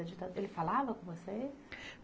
Da ditadura. Ele falava com você?